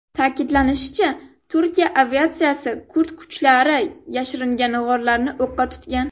Ta’kidlanishicha, Turkiya aviatsiyasi kurd kuchlari yashiringan g‘orlarni o‘qqa tutgan.